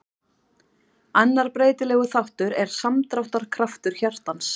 annar breytilegur þáttur er samdráttarkraftur hjartans